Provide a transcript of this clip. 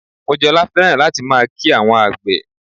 Mojola fẹ́ràn láti máa kí àwọn àgbè